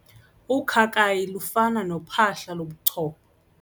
Ukhakayi lufana nophahla lobuchopho.